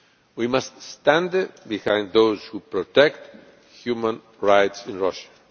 We must stand behind those who protect human rights in Russia.